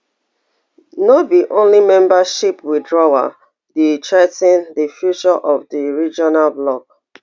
no be only membership withdrawal dey threa ten di future of di regional bloc